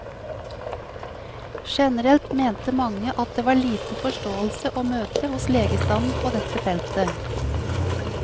Generelt mente mange at det var liten forståelse å møte hos legestanden på dette feltet.